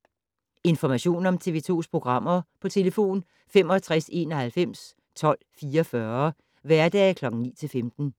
Information om TV 2's programmer: 65 91 12 44, hverdage 9-15.